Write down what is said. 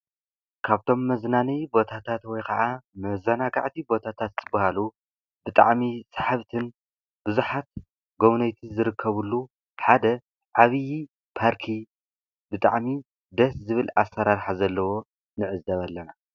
ካብቶም መዝናነዪ ቦታታት ወይ ከዓ መዛናጋዕቲ ቦታታት ዝብሃሉ ብጣዕሚ ሳሓብትን ብዙሓት ጎብነይቲን ዝርከብሉ ሓደ ዓቢ ፓርኪ ብጣዕሚ ደስ ዝብል ኣሰራርሓ ዘለዎ ንዕዘብ ኣለና፡፡